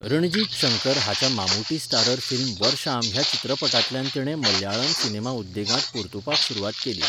रणजीत शंकर हाच्या Mammootty starrer film Varsham ह्या चित्रपटांतल्यान तिणें मलयाळम सिनेमा उद्देगांत परतूपाक सुरवात केली.